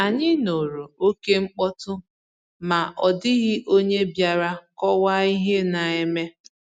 Ànyị nụrụ okémkpọtụ, ma ọ dị̀ghị onye bịàrà kọ̀waa ihe na-eme